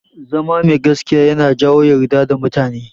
Zama mai gaskiya yana jawo yardar mutane.